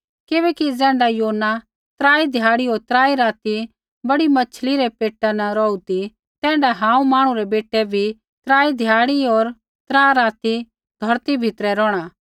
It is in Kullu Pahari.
किबैकि ज़ैण्ढा योना त्राई ध्याड़ै होर त्राई राती बड़ी मैच्छ़ी रै पेटा न रौहू ती तैण्ढाऐ हांऊँ मांहणु रै बेटै भी त्रा ध्याड़ी होर त्रा राती धौरती भीतरै रौहणा